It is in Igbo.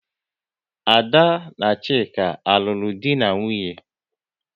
Ada na Chike alulo dị na nwunye?